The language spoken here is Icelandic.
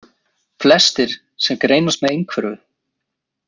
Flestir sem greinast með einhverfu.